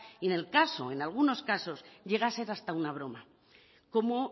en algunos casos llega a ser hasta una broma como